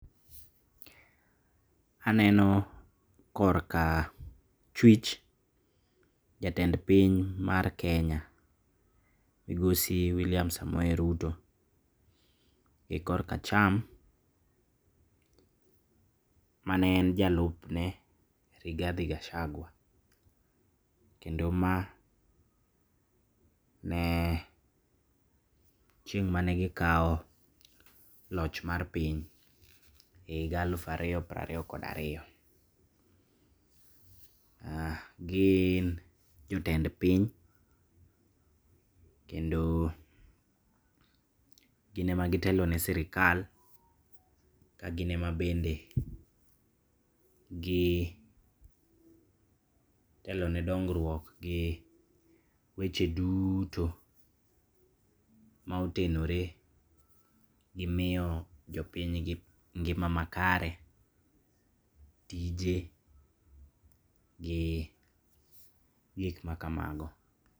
Aneno korka chwich jatend piny mar Kenya migosi William Samoei Ruto. E kor kacham mane en jalupne Rigathi Gachagua, kendo ma ne chieng' mane gikao loch mar piny e higa aluf ariyo pir ariyo kod ariyo. Gin jotend piny, kendo gine ema gitelo ne sirikal, ka gin ema bende gitelone dongruok gi weche duto maotenore gimiyo jopinygi ngima makare tije gi gikma kamago.